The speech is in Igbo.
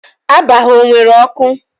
Aba ha o nwere ọkụ?